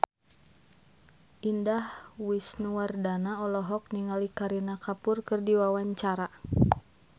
Indah Wisnuwardana olohok ningali Kareena Kapoor keur diwawancara